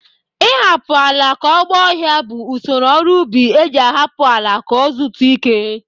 Ị hapụ ala ka ọ gba ọhịa bụ usoro ọrụ ubi e ji ahapụ ala ka o zutu ike.